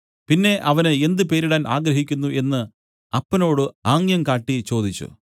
പിന്നെ അവന് എന്ത് പേരിടാൻ ആഗ്രഹിക്കുന്നു എന്നു അപ്പനോട് ആംഗ്യം കാട്ടി ചോദിച്ചു